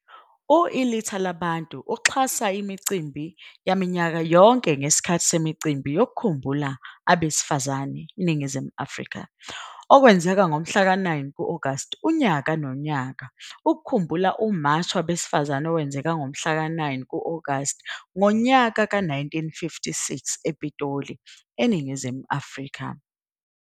U-Ilitha Labantu uxhasa imicimbi yaminyaka yonke ngesikhathi semicimbi yokukhumbula abesifazane, iNingizimu Afrika. Okwenzeka ngo-Agasti 9 unyaka nonyaka ukukhumbula uMashi Wabesifazane owenzeka ngomhlaka 9 Agasti 1956 ePitoli, eNingizimu Afrika.